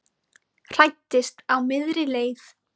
Hræddist á miðri leið